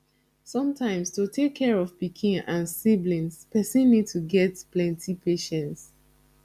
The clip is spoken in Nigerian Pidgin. sometimes to take care of pikin and siblings person need to get plenty patience